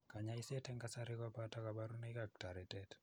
Kanyoiset eng' kasari ko beote kabarunoik ak toretet.